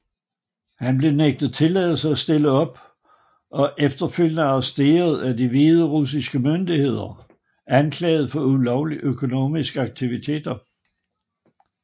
Han blev nægtet tilladelse at stille op og efterfølgende arresteret af de hviderussiske myndigheder anklaget for ulovlige økonomiske aktiviteter